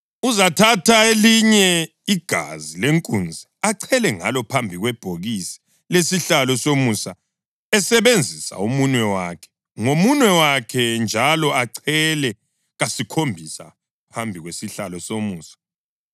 Uzathatha elinye igazi lenkunzi, achele ngalo phambi kwebhokisi lesihlalo somusa esebenzisa umunwe wakhe; ngomunwe wakhe njalo achele kasikhombisa phambi kwesihlalo somusa.